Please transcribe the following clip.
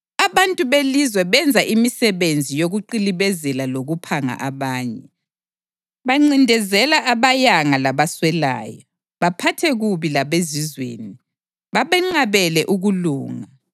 Abantu belizwe benza imisebenzi yokuqilibezela lokuphanga abanye; bancindezela abayanga labaswelayo, baphathe kubi labezizweni, babenqabele ukulunga.